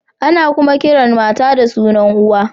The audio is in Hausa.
Ana kuma kiran mata da sunan uwa.